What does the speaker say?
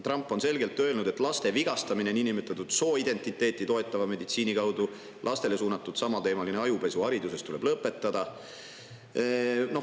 Trump on selgelt öelnud, et laste vigastamine niinimetatud sooidentiteeti toetava meditsiini kaudu ja lastele suunatud samateemaline ajupesu hariduses tuleb lõpetada.